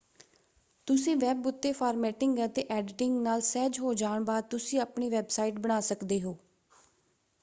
ਤੁਸੀਂ ਵੈਬ ਉੱਤੇ ਫਾਰਮੈਟਿੰਗ ਅਤੇ ਐਡੀਟਿੰਗ ਨਾਲ ਸਹਿਜ ਹੋ ਜਾਣ ਬਾਅਦ ਤੁਸੀਂ ਆਪਣੀ ਵੈਬਸਾਈਟ ਬਣਾ ਸਕਦੇ ਹੋ।